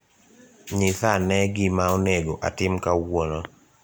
Nyisa ane gima onego atim kawuono